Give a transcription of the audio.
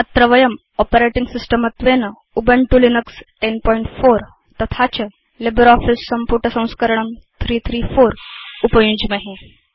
अत्र वयं operating system त्वेन उबुन्तु लिनक्स 1004 तथा च लिब्रियोफिस सम्पुटसंस्करणं 334 उपयुञ्ज्महे